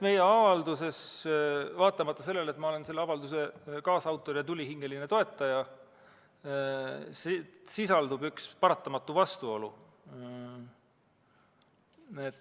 Meie avalduses, vaatamata sellele, et ma olen selle avalduse kaasautor ja tulihingeline toetaja, sisaldub üks paratamatu vastuolu.